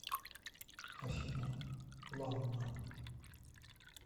афина ланна